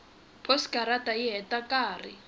posikarata yi heta nkarhi